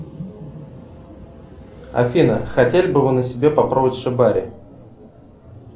афина хотели бы вы на себе попробовать шибари